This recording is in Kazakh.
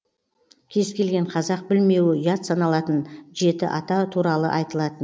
кез келген қазақ білмеуі ұят саналатын жеті ата туралы айтылатын